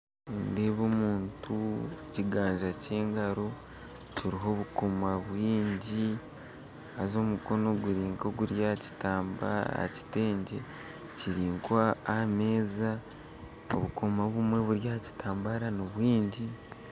Nindeeba omuntu ekiganza kyengaro kiriho obukomo bwingi haza omukono guri nkoguri aha kitengye kiri nkahameza obukomo obumwe buri aha kitambara ni bwingi